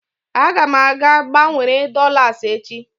Aga m aga gbanwere dolas echi.